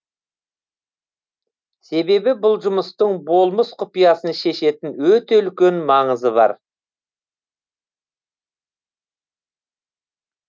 себебі бұл жұмыстың болмыс құпиясын шешетін өте үлкен маңызы бар